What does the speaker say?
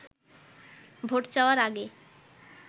vote চাওয়ার আগে